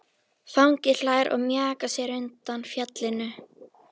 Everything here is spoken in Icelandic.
Fanginn hlær og mjakar sér undan fjallinu.